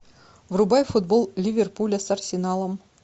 врубай футбол ливерпуля с арсеналом